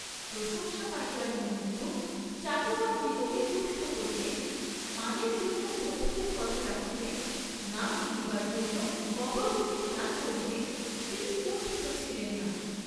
প্রশংসা পাইবার নিমিত্ত চাটুকারদিগকে তুষ্ট করিতে, মানের জন্য বন্ধুদের কথা রাখিতে, নাম কিনিবার জন্য গবর্ণমেণ্টকে দান করিতে, তিনি কুণ্ঠিত ছিলেন না।